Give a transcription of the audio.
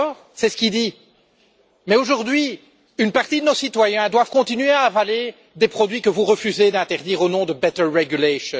C'est ce qu'il dit, mais aujourd'hui, une partie de nos citoyens doivent continuer à avaler des produits que vous refusez d'interdire au nom de better regulation